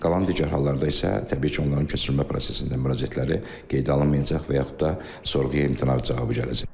Qalan digər hallarda isə təbii ki, onların köçürülmə prosesindən müraciətləri qeydə alınmayacaq və yaxud da sorğuya imtina cavabı gələcək.